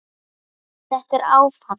Þetta er áfall